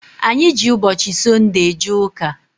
Anyị ji ụbọchị Sọnde eje ụka.